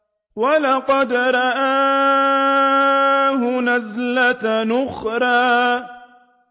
وَلَقَدْ رَآهُ نَزْلَةً أُخْرَىٰ